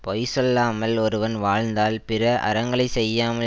பொய் சொல்லாமல் ஒருவன் வாழ்ந்தால் பிற அறங்களை செய்யாமல்